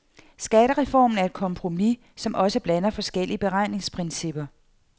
Skattereformen er et kompromis, som også blander forskellige beregningsprincipper.